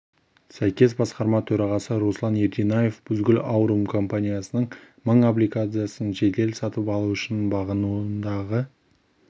сәйкес басқарма төрағасы руслан ерденаев бузгул аурум компаниясының мың облигациясын жедел сатып алу үшін бағынуындағы